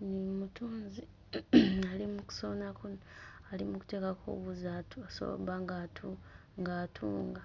ono omutunzi ali mu kusonako ali mu kuteekako wuzi atu asobole obba ng'atu ng'atunga